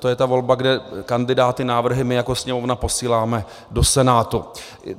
To je ta volba, kde kandidáty, návrhy, my jako Sněmovna posíláme do Senátu.